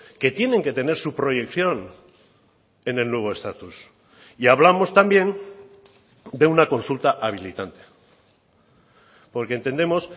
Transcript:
que tienen que tener su proyección en el nuevo estatus y hablamos también de una consulta habilitante porque entendemos